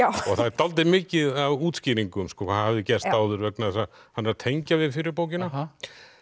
og það er dálítið mikið af útskýringum hvað hafði gerst áður vegna þess að hann er að tengja við fyrri bókina